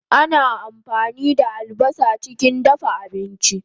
Ana ampani da albasa chikin dafa abinchi